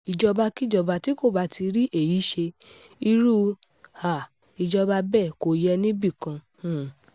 ìjọba-kíjọba tí kò bá ti rí èyí ṣe irú um ìjọba bẹ́ẹ̀ kò yẹ níbì kan um